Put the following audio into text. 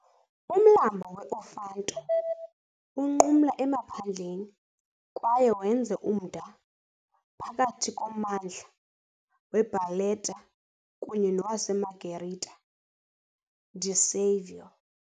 Umlambo we-Ofanto unqumla emaphandleni kwaye wenze umda phakathi kommandla weBarletta kunye nowaseMargherita di Savoia.